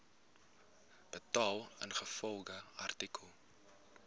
betaal ingevolge artikel